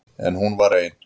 En hún var ein.